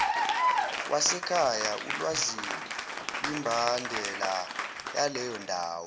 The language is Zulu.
wasekhaya ulwazikwimbandela yaleyondawo